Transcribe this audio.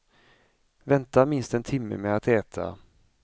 Vänta minst en timme med att äta.